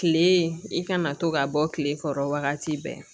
Kile i kana to ka bɔ kile kɔrɔ wagati bɛɛ